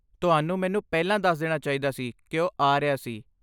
ਤੁਹਾਨੂੰ ਮੈਨੂੰ ਪਹਿਲਾਂ ਦੱਸ ਦੇਣਾ ਚਾਹੀਦਾ ਸੀ ਕਿ ਉਹ ਆ ਰਿਹਾ ਸੀ।